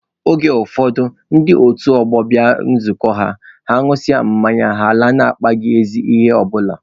Oge ụfọdụ ndị otu ọgbọ bịa nzukọ ha, ha ṅụsịa mmanya, ha alaa na-akpaghị ezi ihe ọ bụla